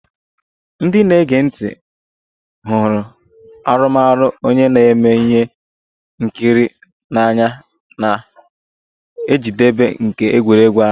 Ndị na-ege ntị hụrụ arụmọrụ onye na-eme ihe nkiri n'anya na njedebe nke egwuregwu ahụ